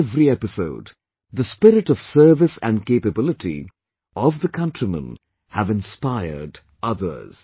In every episode, the spirit of service and capability of the countrymen have inspired others